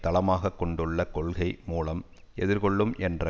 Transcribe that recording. தளமாக கொண்டுள்ள கொள்கை மூலம் எதிர் கொள்ளும் என்ற